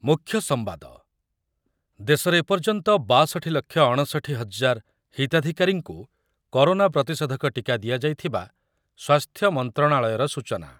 ମୁଖ୍ୟସମ୍ବାଦ, ଦେଶରେ ଏପର୍ଯ୍ୟନ୍ତ ବାଷଠି ଲକ୍ଷ ଅଣଷଠି ହଜାର ହିତାଧିକାରୀଙ୍କୁ କରୋନା ପ୍ରତିଷେଧକ ଟିକା ଦିଆଯାଇଥିବା ସ୍ୱାସ୍ଥ୍ୟ ମନ୍ତ୍ରଣାଳୟର ସୂଚନା।